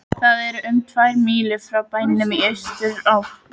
Það er um tvær mílur frá bænum í austurátt.